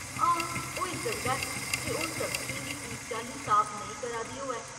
हां, होई सकदा ऐ जे ओह् सब्जियें गी ठीक चाल्ली साफ नेईं करा दी होऐ।